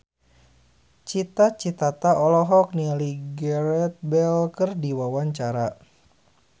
Cita Citata olohok ningali Gareth Bale keur diwawancara